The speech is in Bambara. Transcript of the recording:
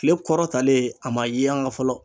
Kile kɔrɔ talen a ma yanga fɔlɔ